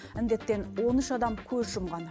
індеттен он үш адам көз жұмған